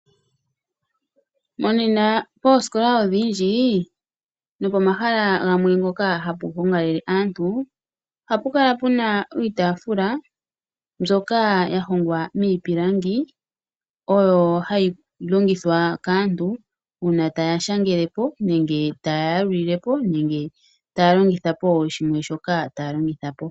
Monena oosikola odhindji no pomaha mpoka hapu gongalele aantu, ohapu kala puna iitafula mbyoka ya hongwa miitafula oyo hayi longithwa kaantu ngele taashagelepo nenge ta ya yalulilepo nenge taalongithapo shimwe shoka taalongitha.